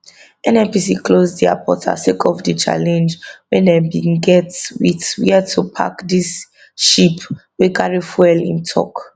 nnpc close dia portal sake of di challenge wey dem bin get wit wia to park di ship wey carry fuel im tok